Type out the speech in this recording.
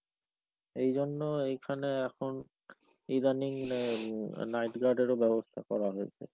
এই জন্য এইখানে এখন, ইদানিং night guard এরও ব্যবস্থা করা হয়েছে।